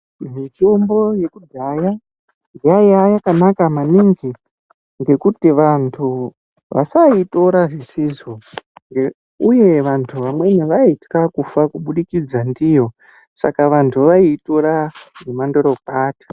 Mitombo yekudhaya yaiya yakanaka maningi, ngekuti vantu vasaitora zvisizvo uye vantu vamweni vaitwa kufa kubudikidza ndiyo, saka vantu vaitora nemandorokwati.